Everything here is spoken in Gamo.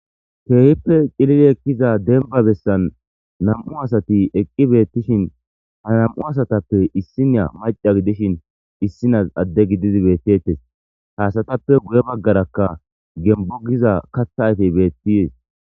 Keehippe cilili ekkiza denba bessan nam7u asati eqqi beettishin ha nam'u asatappe issinya maca gidishin issinas adde gididi beettettes haasatappe guye baggarakka gembo giza katha aytey beettiyees.